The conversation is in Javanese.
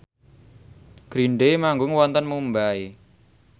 Green Day manggung wonten Mumbai